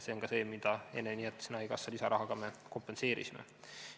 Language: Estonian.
See on ka see, mida me haigekassa lisarahaga kompenseerisime.